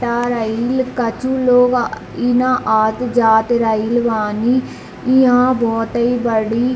तार आइल कछु लोग इ न आत जात रइल बानी इहाँ बहुते बड़ी --